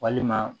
Walima